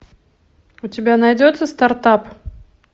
у тебя найдется стартап